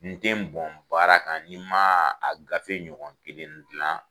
N ten n bɔn baara kan nin ma a gafe ɲɔgɔn kelen dilan.